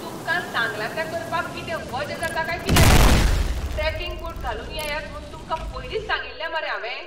तुमकां सांगलां तें करपाक कितें वजें जाता काय कितें रे? ट्रॅकिंग बूट घालून येयात म्हूण तुमकां पयलींच सांगिल्लें मरे हांवें?